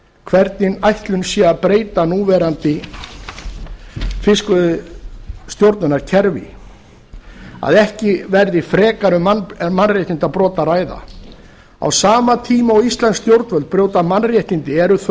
hvernig ætlun sé að breyta núverandi fiskveiðistjórnarkerfi að ekki verði um frekari mannréttindabrot að ræða á sama tíma og íslensk stjórnvöld brjóta mannréttindi eru